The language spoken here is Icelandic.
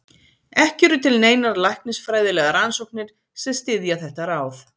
Ekki eru til neinar læknisfræðilegar rannsóknir sem styðja þetta ráð.